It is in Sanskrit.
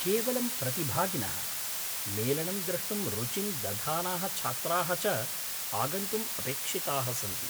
केवलं प्रतिभागिनः, मेलनं द्रष्टुं रुचिं दधानाः छात्राः च आगन्तुम् अपेक्षिताः सन्ति।